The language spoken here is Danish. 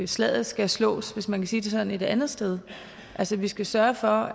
slaget skal slås hvis man kan sige det sådan et andet sted altså vi skal sørge for